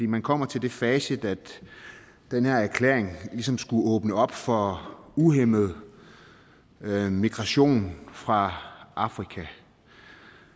man kommer til det facit at den her erklæring ligesom skulle åbne op for uhæmmet migration fra afrika